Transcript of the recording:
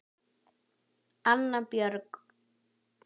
Anna Björk.